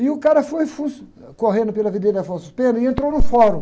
E o cara foi fu, correndo pela Avenida Afonso Pena e entrou no fórum.